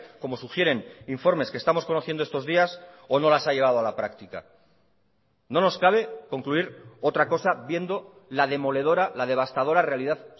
como sugieren informes que estamos conociendo estos días o no las ha llevado a la práctica no nos cabe concluir otra cosa viendo la demoledora la devastadora realidad